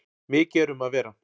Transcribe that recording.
Mikið er um að vera.